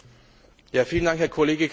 Vielen Dank, Herr Kollege Cramer.